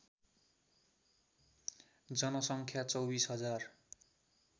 जनसङ्ख्या २४ हजार